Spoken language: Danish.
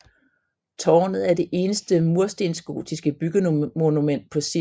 Tårnet er det eneste murstensgotiske byggemonument på Sild